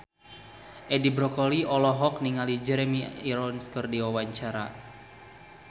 Edi Brokoli olohok ningali Jeremy Irons keur diwawancara